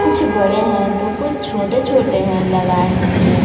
कुछ बड़े हैं तो कुछ छोटे छोटे हैं लगाए हुए।